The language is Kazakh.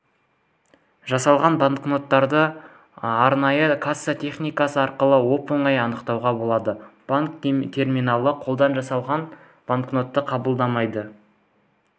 жасалған банкноттарды арнайы касса техникасы арқылы оп-оңай анықтауға болады банк терминалы қолдан жалған банкнотты қабылдамайды